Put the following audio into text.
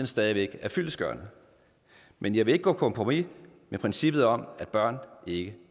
stadig væk er fyldestgørende men jeg vil ikke gå på kompromis med princippet om at børn ikke